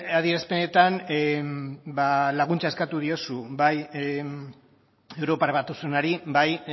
adierazpenetan laguntza eskatu diozu bai europar batasunari bai